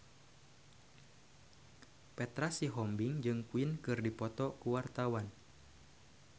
Petra Sihombing jeung Queen keur dipoto ku wartawan